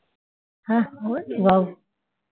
হ্যাঁ ওই বাবু